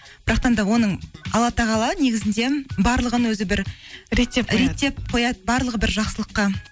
да оның алла тағала негізінде барлығын өзі бір реттеп қояды барлығы бір жақсылыққа